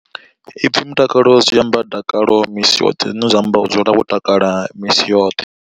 Ipfi mutakalo zwi amba dakalo misi yoṱhe zwine zwa amba u dzula wo takala misi yoṱhe.